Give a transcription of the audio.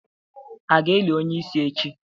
A ga-eli onye isi echi?